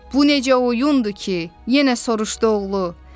Bu necə oyundur ki, yenə soruşdu oğlu.